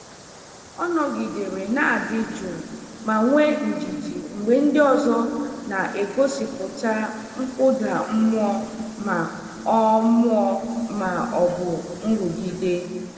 Ọ nọgidere na-adị jụụ ma nwee ndidi mgbe ndị ọzọ na-egosipụta nkụda mmụọ ma ọ mmụọ ma ọ bụ nrụgide.